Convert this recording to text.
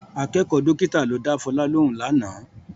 Akẹ́kọ̀ọ́ dọ́kítà ló dá Fọlá lóhùn lánàá